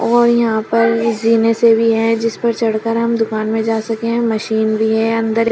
और यहां पर जीने से भी है जिस पर चढ़कर हम दुकान में जा सके हैं मशीन भी है अंदर--